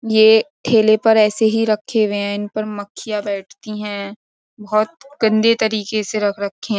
ये ठेले पर ऐसे ही रखे हुए हैं इन पर मक्खियां बैठती हैं बहुत गंदे तरीके से रख रखे हैं।